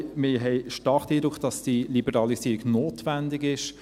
: Wir haben stark den Eindruck, dass die Liberalisierung notwendig ist.